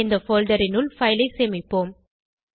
இந்த போல்டர் னுள் பைல் ஐ சேமிப்போம்